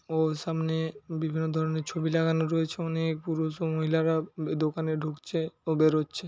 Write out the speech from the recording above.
ও সামনে বিভিন্ন ধরনের ছবি লাগানো রয়েছে। অনেক পুরুষ ও মহিলারা দোকানে ঢুকছে ও বেরোচ্ছে।